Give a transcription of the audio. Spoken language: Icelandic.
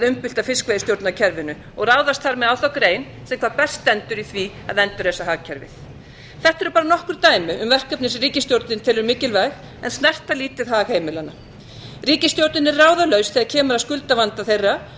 umbylta fiskveiðistjórnarkerfinu og ráðast þar með á þá grein sem hvað best stendur í því að endurreisa hagkerfið þetta eru bara nokkur dæmi um verkefni sem ríkisstjórnin telur mikilvæg en snerta lítið hag heimilanna ríkisstjórnin er ráðalaus þegar kemur að skuldavanda þeirra